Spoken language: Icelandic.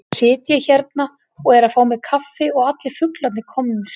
Svo sit ég hérna og er að fá mér kaffi og allir fuglarnir komnir.